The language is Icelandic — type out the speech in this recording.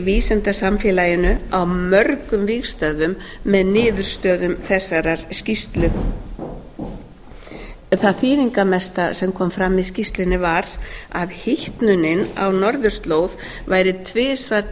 vísindasamfélaginu á mörgum vígstöðvum með niðurstöður þessarar skýrslu það þýðingarmesta sem kom fram í skýrslunni var að hitnunin á norðurslóð væri tvisvar